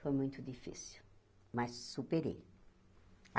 Foi muito difícil, mas superei.